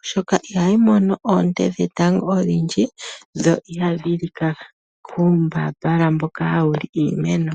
oshoka ihayi mono oonte dhetango odhindji yo ihayi lika kuumbambala mboka hawu li iimeno.